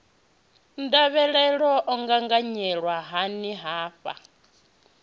ndavhelelo o gaganyelwa hani hafha